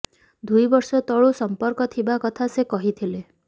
ଦୁଇ ବର୍ଷ ତଳୁ ସମ୍ପର୍କ ଥିବା କଥା ସେ କହିଥିଲେ